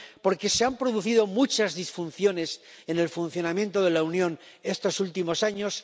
porque se han producido muchas disfunciones en el funcionamiento de la Unión estos últimos años.